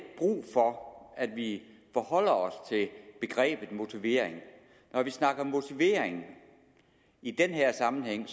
brug for at vi forholder os til begrebet motivering når vi snakker motivering i den her sammenhæng